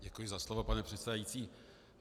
Děkuji za slovo, pane předsedající.